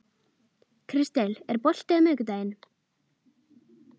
Kristel, er bolti á miðvikudaginn?